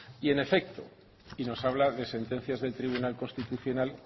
y en efecto y nos habla de sentencias del tribunal constitucional